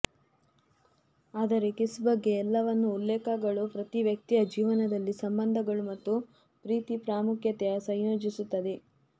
ಆದರೆ ಕಿಸ್ ಬಗ್ಗೆ ಎಲ್ಲವನ್ನೂ ಉಲ್ಲೇಖಗಳು ಪ್ರತಿ ವ್ಯಕ್ತಿಯ ಜೀವನದಲ್ಲಿ ಸಂಬಂಧಗಳು ಮತ್ತು ಪ್ರೀತಿ ಪ್ರಾಮುಖ್ಯತೆಯ ಸಂಯೋಜಿಸುತ್ತದೆ